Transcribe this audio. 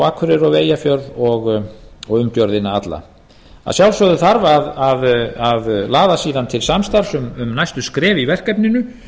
akureyri og við eyjafjörð og umgjörðina alla að sjálfsögðu þarf að laða síðan til samstarfs um næstu skref í verkefninu